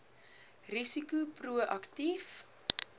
risiko pro aktief